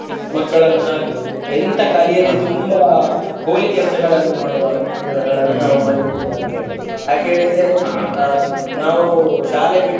ಮಕ್ಕಳನ್ನು ಹಾಗೂ ಎಂತ ಕಲಿಯದೆ ತುಂಬಾ ಪೋಲಿ ಕೆಲಸಗಳನ್ನು ಮಾಡುವ ಜನಗಳನ್ನು ನಾವು ಮಾರಿಯುವುದಿಲ್ಲ ಅಂತ ಹೇಳಿ ಯಾಕ ಹೇಳಿದ್ರೆ ಆ ನಾವು ಶಾಲೆ ಬಿಟ್ಟ.